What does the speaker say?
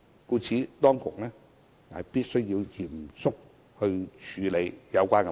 因此，當局必須嚴肅處理有關問題。